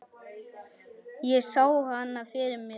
Ég sá hana fyrir mér.